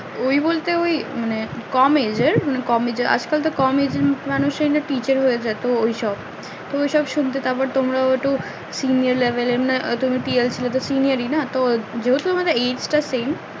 ওই বলতে ওই মানে কম age এর কম age এর আজকাল তো কম age এর মানুষ রা তো teacher হয়ে যায় তো ওই সব তো ওই সব শুনতে থাকো তোমরা ও একটু